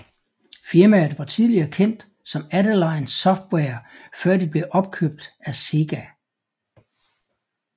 Firmaet var tidligere kendt som Adeline Software før de blev opkøbt af Sega